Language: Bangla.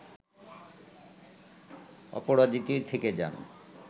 অপরাজিতই থেকে যান